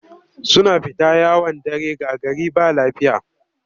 Suna fita yawon dare ga gari ba lafiya